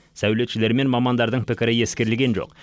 сәулетшілер мен мамандардың пікірі ескерілген жоқ